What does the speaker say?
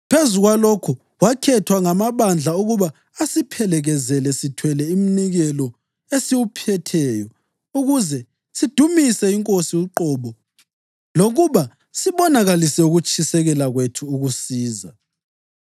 Phezu kwalokho, wakhethwa ngamabandla ukuba asiphelekezele sithwele umnikelo esiwuphetheyo ukuze sidumise iNkosi uqobo lokuba sibonakalise ukutshisekela kwethu ukusiza.